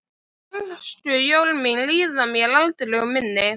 Bernskujól mín líða mér aldrei úr minni.